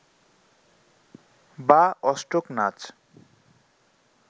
বা অষ্টক নাচ